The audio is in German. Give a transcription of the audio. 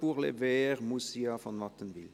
Pour les Verts, Moussia von Wattenwyl.